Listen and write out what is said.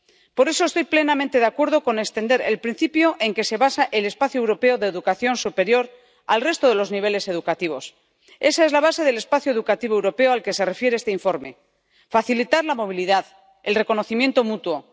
Por eso estoy plenamente de acuerdo con extender el principio en que se basa el espacio europeo de educación superior al resto de los niveles educativos. Esa es la base del espacio educativo europeo al que se refiere este informe facilitar la movilidad, el reconocimiento mutuo.